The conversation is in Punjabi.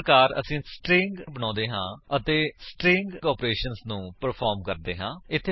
ਇਪ ਪ੍ਰਕਾਰ ਅਸੀਂ ਸਟਰਿੰਗ ਬਨੋਉਂਦੇ ਹਾਂ ਅਤੇ ਸਟਰਿੰਗ ਆਪਰੇਸ਼ੰਸ ਨੂੰ ਪਰਫ਼ਾਰ੍ਮ ਕਰਦੇ ਹਾਂ